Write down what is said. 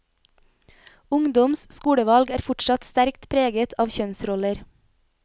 Ungdoms skolevalg er fortsatt sterkt preget av kjønnsroller.